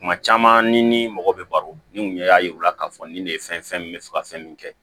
Kuma caman ni ni mɔgɔ bɛ baro ni mun ɲɛ y'a yir'u la k'a fɔ nin de ye fɛn ye fɛn min bɛ fɛ ka fɛn min kɛ